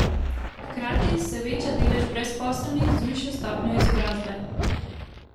Hkrati se veča delež brezposelnih z višjo stopnjo izobrazbe.